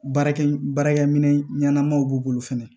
Baarakɛ baarakɛ minɛn ɲɛnamaw b'u bolo fɛnɛ